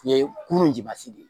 Ɲɛ kurun